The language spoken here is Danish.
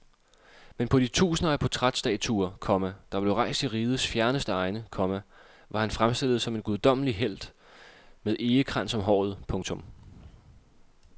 Men på de tusinder af portrætstatuer, komma der blev rejst i rigets fjerneste egne, komma var han fremstillet som en guddommelig helt med egekrans om håret. punktum